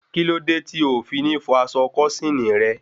Kíló dé tí o fi ní fọ aṣọ kósíìnì rẹ?